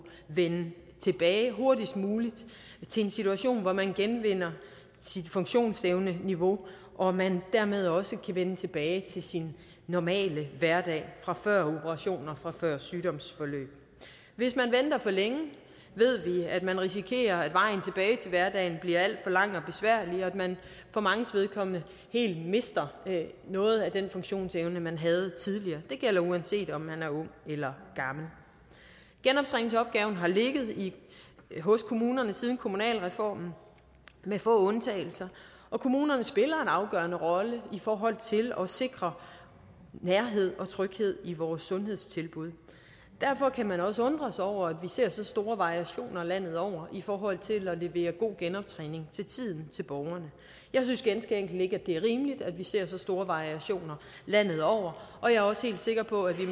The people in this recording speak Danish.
vende tilbage hurtigst muligt til en situation hvor man genvinder sit funktionsevneniveau og man dermed også kan vende tilbage til sin normale hverdag fra før operationer og fra før sygdomsforløb hvis man venter for længe ved vi at man risikerer at vejen tilbage til hverdagen bliver alt for lang og besværlig og at man for manges vedkommende helt mister noget af den funktionsevne man havde tidligere det gælder uanset om man er ung eller gammel genoptræningsopgaven har ligget hos kommunerne siden kommunalreformen med få undtagelser og kommunerne spiller en afgørende rolle i forhold til at sikre nærhed og tryghed i vores sundhedstilbud derfor kan man også undre sig over at vi ser så store variationer landet over i forhold til at levere god genoptræning til tiden til borgerne jeg synes ganske enkelt ikke at det er rimeligt at vi ser så store variationer landet over og jeg er også helt sikker på at vi